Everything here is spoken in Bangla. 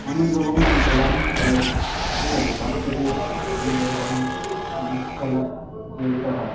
অনেক রকমের খেলা খেলে ঠিক আছে বাচ্চাদের অনেক রকমের জিনিস খেলা প্রতিযোগিতা হয়.।